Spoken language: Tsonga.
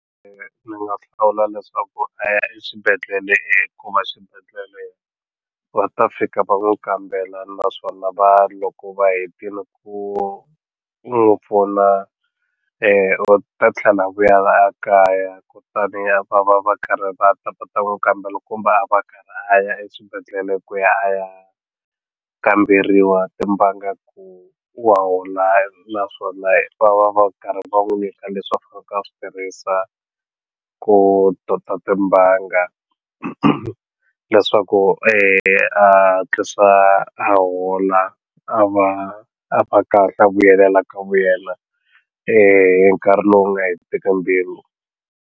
Ni nga hlawula leswaku swixibedhlele hikuva swibedhlele va ta fika va n'wu kambela naswona va loko va hetini ku ku n'wu pfuna u ta tlhela a vuya a kaya ku ta ni a va va va karhi va ta va ta n'wu kambela kumbe a va a karhi a ya eswibedhlele ku ya a ya kamberiwa timbanga ku wa hola naswona va va va karhi va n'wu nyika leswiku a swi tirhisa ku tota timbanga leswaku a hatlisa a hola a va a va kahle a vuyelela ka vuyela hi nkarhi lowu nga hetiseki mbilu.